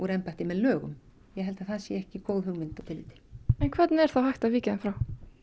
embætti með lögum ég held að það sé ekki góð hugmynd en hvernig er þá hægt að víkja þeim frá